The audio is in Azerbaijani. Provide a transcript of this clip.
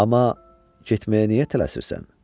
Amma getməyə niyə tələsirsən?